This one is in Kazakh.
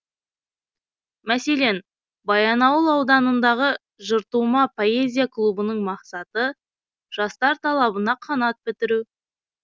мәселен баянауыл ауданындағы жыртұма поэзия клубының мақсаты жастар талабына қанат бітіру